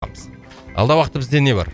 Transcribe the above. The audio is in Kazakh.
алдағы уақытта бізде не бар